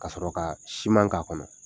Ka sɔrɔ kaa siman k'a kɔnɔ.